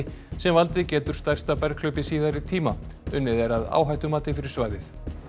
sem valdið getur stærsta berghlaupi síðari tíma unnið er að áhættumati fyrir svæðið